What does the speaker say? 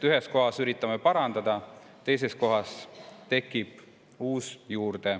Ühes kohas üritame parandada, teises kohas tekib uus.